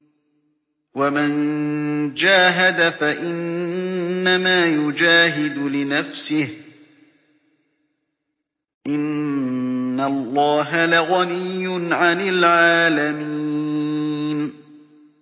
وَمَن جَاهَدَ فَإِنَّمَا يُجَاهِدُ لِنَفْسِهِ ۚ إِنَّ اللَّهَ لَغَنِيٌّ عَنِ الْعَالَمِينَ